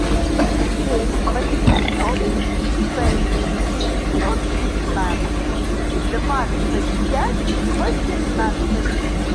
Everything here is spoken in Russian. семь восемьсот шесть девятьсот пятнадцать двадцать пять восемнадцать